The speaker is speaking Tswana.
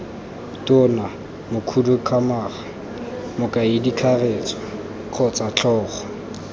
tona mokhuduthamaga mokaedikakaretso kgotsa tlhogo